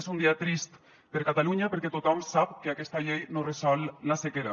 és un dia trist per a catalunya perquè tothom sap que aquesta llei no resol la sequera